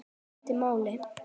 Það skipti máli.